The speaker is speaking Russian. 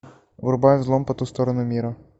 врубай взлом по ту сторону мира